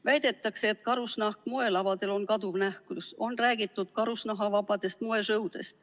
Väidetakse, et karusnahk moelavadel on kaduv nähtus, on räägitud karusnahavabadest moeetendustest.